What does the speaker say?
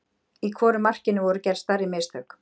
Í hvoru markinu voru gerð stærri mistök?